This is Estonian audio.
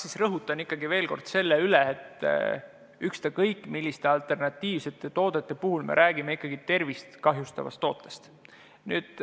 Ma rõhutan ikkagi veel kord selle üle, et ükstakõik, milliste alternatiivsete toodetega on tegu, me räägime ikkagi tervist kahjustavast tootest.